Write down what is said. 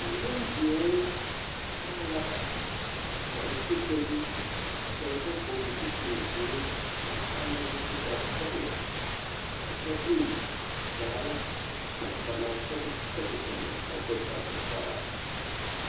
A nimbeõ taa la fotori ka ba vɔɡele zupilziiri a haa nɔrɛɛ su kparsɔɡelɔ a kyɛ de daare ba naŋ sɛɡe sɛɡre eŋ ka a do saa.